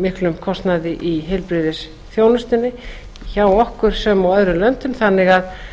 miklum kostnaði í heilbrigðisþjónustunni hjá okkur sem og í öðrum löndum þannig að